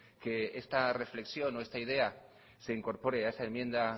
que esta reflexión o esta idea se incorpore a esta enmienda